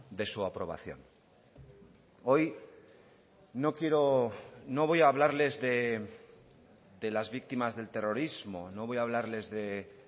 de su aprobación hoy no quiero no voy a hablarles de las víctimas del terrorismo no voy a hablarles de